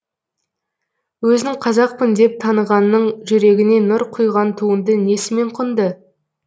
өзін қазақпын деп танығанның жүрегіне нұр құйған туынды несімен құнды